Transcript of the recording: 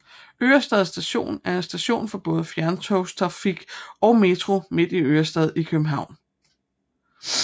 Ørestad Station er en station for både fjerntogstrafik og Metro midt i Ørestad i København